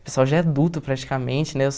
O pessoal já é adulto praticamente, né?